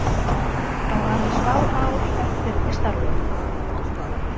Á aðeins fá ár eftir í starfi.